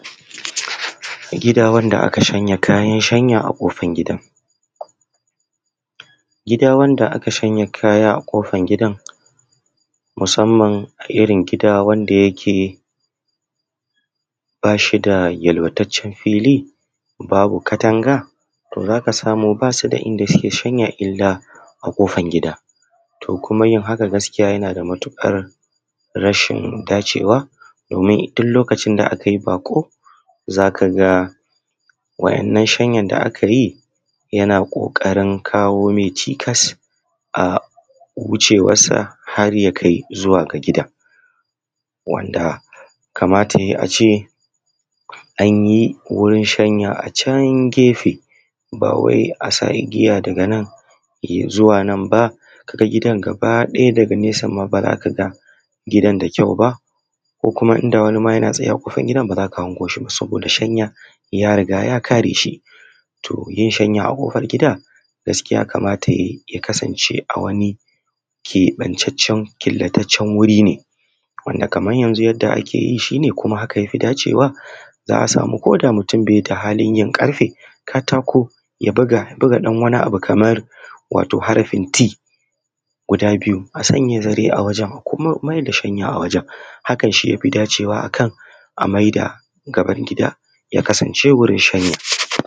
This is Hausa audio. Gida wanda aka yi shanya a kofar gidan, gida wanda aka shanya kayan shanya a kofar gidan musamman wanda ba su da wadataccen fili a maman da goyon yaron ta tana girka abinci yawancin iyaye suna sa yayan su a baya su goya su idan za su shiga ɗakin girki. Wannan wata kariya ce babba da iyaye suke ba wa yaran su domin idan ka bar ƙaramin yaro yana yawo a cikin madafan abinci, a haka zai iya zuwa ya cutar da kansa sannan ke kanki uwar aikin ba zai miki sauri ba, shi ya sa sai uwa ta sa ɗan ta a baya ta goya shi idan ba ki goya yaro ba, ki bar shi yana yawo a dakin girki zai iya zuwa ya kama wuta yaƙone ko kuma ya baro wa kansa ruwan zafi ko kuma ya dau wani abun da ba ci ake ba ya kai bakin sa, a mai da gaban gida ya kasance wajen shanya.